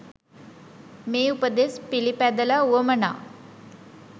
මේ උපදෙස් පිළිපැදල උවමනා